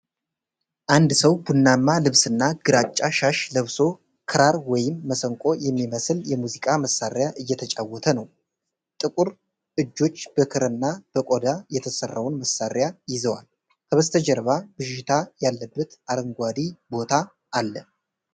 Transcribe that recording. አንድ ሰው ቡናማ ልብስና ግራጫ ሻሽ ለብሶ ክራር ወይም መሰንቆ የሚመስል የሙዚቃ መሣሪያ እየተጫወተ ነው። ጥቁር እጆች በክርና በቆዳ የተሰራውን መሣሪያ ይዘዋል። ከበስተጀርባ ብዥታ ያለበት አረንጓዴ ቦታ አለ።